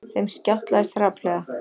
Þeim skjátlaðist hrapallega.